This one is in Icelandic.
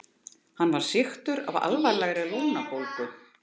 Hann var sýktur af alvarlegri lungnabólgu.